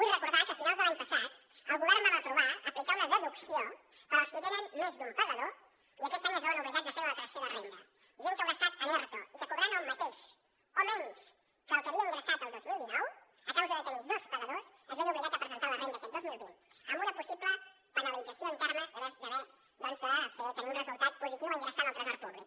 vull recordar que a finals de l’any passat el govern vam aprovar aplicar una deducció per als qui tenen més d’un pagador i aquest any es veuen obligats a fer la declaració de renda gent que haurà estat en erto i que cobrant el mateix o menys que el que havia ingressat el dos mil dinou a causa de tenir dos pagadors es veia obligada a presentar la renda aquest dos mil vint amb una possible penalització en termes doncs de tenir un resultat positiu a ingressar al tresor públic